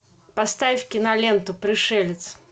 поставь киноленту пришелец